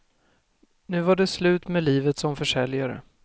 Nu var det slut med livet som försäljare.